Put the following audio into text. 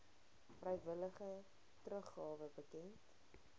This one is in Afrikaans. vrywillige teruggawe bekend